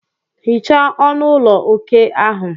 Hichaa ọnụ ụlọ okè ahụ.